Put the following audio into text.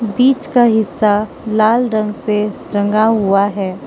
बीच का हिस्सा लाल रंग से रंगा हुआ है।